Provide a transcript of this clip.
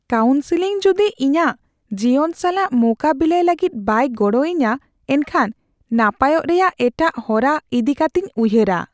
Counselling ᱡᱩᱫᱤ ᱤᱧᱟᱹᱜ ᱡᱤᱭᱚᱱ ᱥᱟᱞᱟᱜ ᱢᱳᱠᱟᱵᱤᱞᱟᱭ ᱞᱟᱹᱜᱤᱫ ᱵᱟᱭ ᱜᱚᱲᱚ ᱟᱹᱧᱟᱹ ᱮᱱᱠᱷᱟᱱ ᱱᱟᱯᱟᱭᱚᱜ ᱨᱮᱭᱟᱜ ᱮᱴᱟᱜ ᱦᱚᱨᱟ ᱤᱫᱤ ᱠᱟᱹᱛᱤᱧ ᱩᱭᱦᱟᱹᱨᱟ ᱾